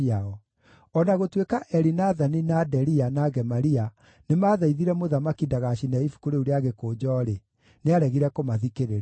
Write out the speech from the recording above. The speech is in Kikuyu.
O na gũtuĩka Elinathani, na Delia, na Gemaria nĩmathaithire mũthamaki ndagacine ibuku rĩu rĩa gĩkũnjo-rĩ, nĩaregire kũmathikĩrĩria.